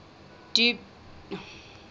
dubious date february